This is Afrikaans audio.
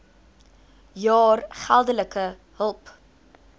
jaar geldelike hulp